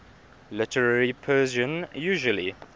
literary persian usually